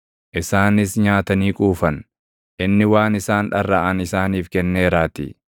Isaanis nyaatanii quufan; inni waan isaan dharraʼan isaaniif kenneeraatii.